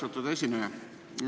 Austatud esineja!